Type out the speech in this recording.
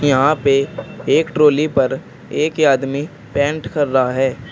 यहां पे एक ट्राली पर एक आदमी पेंट कर रहा है।